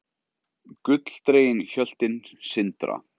Gulldregin hjöltin sindra.